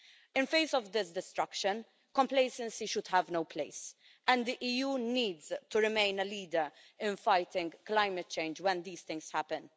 In the face of this destruction, complacency should have no place, and the EU needs to remain a leader in fighting climate change when these things happen.